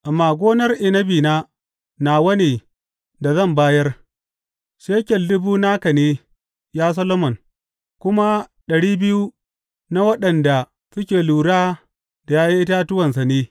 Amma gonar inabina nawa ne da zan bayar; shekel dubu naka ne, ya Solomon, kuma ɗari biyu na waɗanda suke lura da ’ya’yan itatuwansa ne.